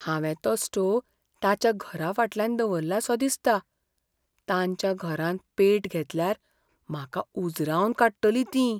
हांवे तो स्टोव तांच्या घराफाटल्यान दवरलासो दिसता. तांच्या घरान पेट घेतल्यार म्हाका उजरावन काडटलीं ती.